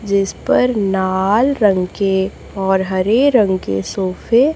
जिस पर लाल रंग के और हरे रंग के सोफे --